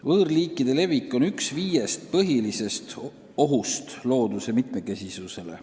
Võõrliikide levik on üks viiest põhilisest ohust looduse mitmekesisusele.